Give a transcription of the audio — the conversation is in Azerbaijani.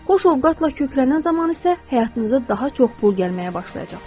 Xoş ovqatla köklənən zaman isə həyatınıza daha çox pul gəlməyə başlayacaqdır.